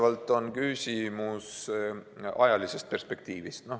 See on küsimus valdavalt ajalisest perspektiivist.